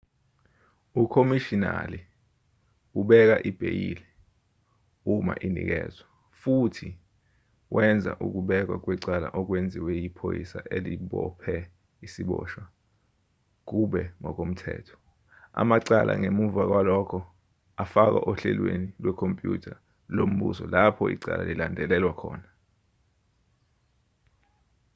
ukhomishinali ubeka ibheyili uma inikezwa futhi wenza ukubekwa kwecala okwenziwe yiphoyisa elibophe isiboshwa kube ngokomthetho amacala ngemva kwalokho afakwa ohlelweni lwekhompyutha lombuso lapho icala lilandelelwa khona